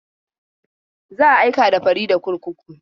Za a aika da Farida kurkuku.